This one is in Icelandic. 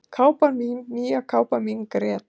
"""Kápan mín, nýja kápan mín grét"""